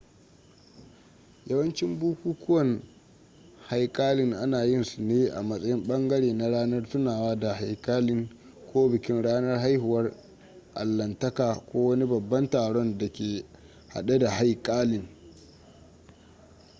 yawancin bukukuwan haikalin ana yin su ne a matsayin ɓangare na ranar tunawa da haikalin ko bikin ranar haihuwar allahntaka ko wani babban taron da ke hade da haikalin